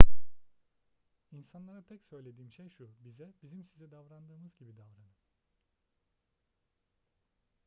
i̇nsanlara tek söylediğim şey şu: bize bizim size davrandığımız gibi davranın